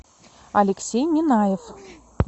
алексей минаев